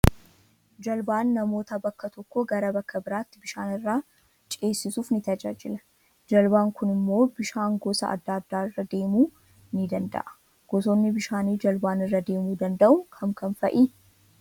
Jaalbaan namoota bakka tokkoo gara bakka biratti bishaan irraa ceesisuuf ni tajaajila. Jaalbaan Kun immoo bishaan gosa adda addaarra adeemu nii danda'a. Gosoonni bishaani jaalbaan irra adeemuu danda'u kam Kam fa'i?